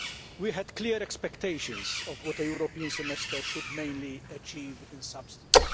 We had clear expectations of what a European Semester should mainly achieve in substance.